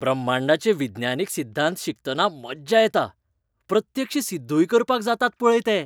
ब्रह्मांडाचे विज्ञानीक सिध्दांत शिकतना मज्जा येता. प्रत्यक्ष सिद्धूय करपाक जातात पळय ते.